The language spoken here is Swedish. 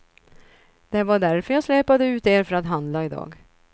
Det var därför jag släpade ut er för att handla idag.